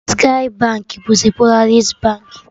Skye Baankị bụzi Polaris Baankị